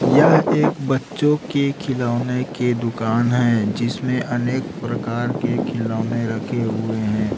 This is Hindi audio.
यह एक बच्चों के खिलौने के दुकान है जिसमें अनेक प्रकार के खिलौने रखे हुए हैं।